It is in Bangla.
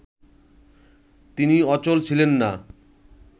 তিনি অচল ছিলেন না